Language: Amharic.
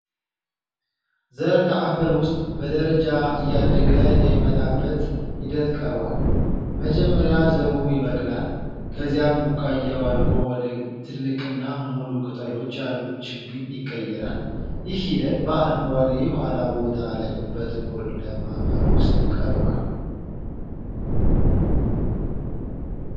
ዘር ከአፈር ውስጥ በደረጃ እያደገ የሚመጣበት ሂደት ቀርቧል። መጀመሪያ ዘሩ ይበቅላል፣ ከዚያም ቡቃያው አድጎ ወደ ትልቅና ሙሉ ቅጠሎች ያሉት ችግኝ ይቀየራል። ይህ ሂደት በአረንጓዴ የኋላ ቦታ ላይ በጥቁር ለም አፈር ውስጥ ቀርቧል።